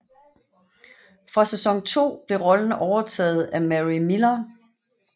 Fra sæson 2 blev rollen overtaget af Mary Millar